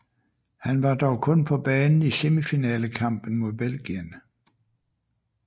Han var dog kun på banen i semifinalekampen mod Belgien